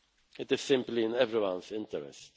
it. It is simply in everyone's interest.